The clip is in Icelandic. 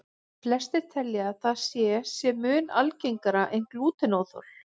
Flestir telja að það sé sé mun algengara en glútenóþol.